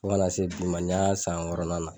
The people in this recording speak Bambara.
Fo kana se bi ma, ni y'an san wɔɔrɔnnan la.